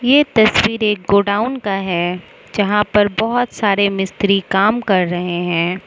ये तस्वीर एक गोडाउन का है जहां पर बहत सारे मिस्त्री काम कर रहे हैं।